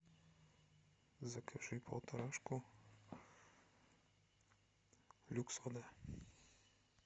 закажи полторашку люкс вода